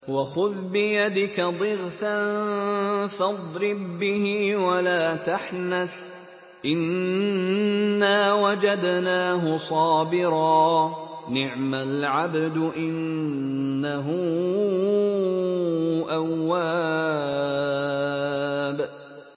وَخُذْ بِيَدِكَ ضِغْثًا فَاضْرِب بِّهِ وَلَا تَحْنَثْ ۗ إِنَّا وَجَدْنَاهُ صَابِرًا ۚ نِّعْمَ الْعَبْدُ ۖ إِنَّهُ أَوَّابٌ